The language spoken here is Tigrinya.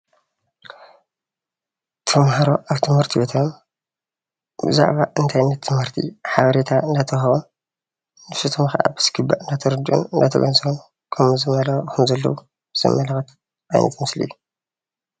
ተምሃሮ ኣብ ትምህርቤቶም ብዛዕባ እንታይነት ትምህርቲ ሓበሬታ እናተውሃቦን ብዝግባእ እናተረዱኢን እናተገንዘቡን እናተኸታተሉን እናተገንዘቡን ከም ዘለዉ ዘመላኽት ዓይነት ምስሊ እዩ።